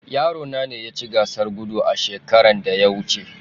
Yarona ne yaci Gasar Gudu a shekaran da ya wuce